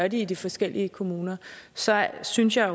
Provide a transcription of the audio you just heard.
i de forskellige kommuner så synes jeg